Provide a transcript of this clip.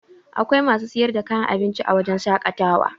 Akwai masu sayar da kayan abinci a wajen shaƙatawa